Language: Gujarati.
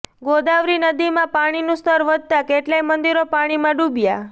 ગોદાવરી નદીમાં પાણીનું સ્તર વધતા કેટલાંય મંદિરો પાણીમાં ડૂબ્યા